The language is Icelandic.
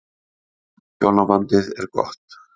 Hjónabandið er gott.